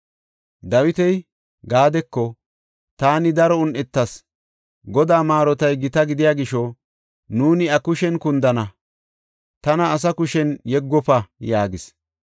Dawiti Gaadeko, “Taani daro un7etas. Godaa maarotay gita gidiya gisho, nuuni iya kushen kundana; tana asa kushen yeggofo” yaagis.